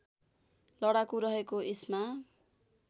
लडाकु रहेको इस्मा